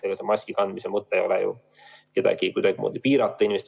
Ega maski kandmise mõte ei ole ju inimeste vabadusi kuidagimoodi piirata.